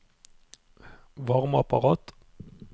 varmeapparat